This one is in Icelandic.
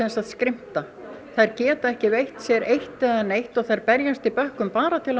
skrimta þær geta ekki veitt sér eitt eða neitt og þær berjast í bökkum bara til